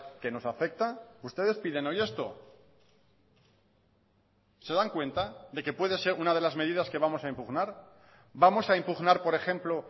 que nos afecta ustedes piden hoy esto se dan cuenta de que puede ser una de las medidas que vamos a impugnar vamos a impugnar por ejemplo